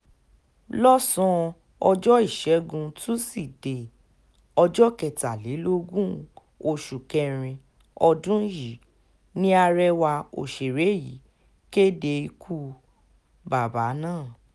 lọ́sàn-án ọjọ́ ìṣẹ́gun túṣídéé ọjọ́ kẹtàlélógún oṣù kẹrin ọdún yìí ni arẹwà òṣèré yìí kéde ikú bàbà náà